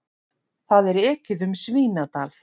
Það er ekið um Svínadal.